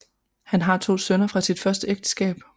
Han har to sønner fra sit første ægteskab